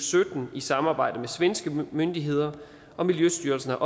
sytten i samarbejde med svenske myndigheder og miljøstyrelsen har